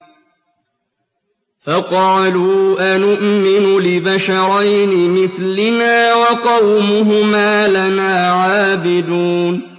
فَقَالُوا أَنُؤْمِنُ لِبَشَرَيْنِ مِثْلِنَا وَقَوْمُهُمَا لَنَا عَابِدُونَ